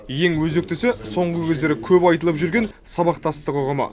ең өзектісі соңғы кездері көп айтылып жүрген сабақтастық ұғымы